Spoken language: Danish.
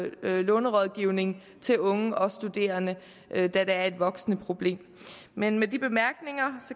lånerådgivning til unge og studerende da der er et voksende problem med med de bemærkninger